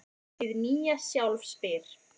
Hið nýja sjálf spyr: